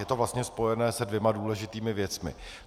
Je to vlastně spojené se dvěma důležitými věcmi.